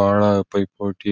ಬಹಳ ಪೈಪೋಟಿ.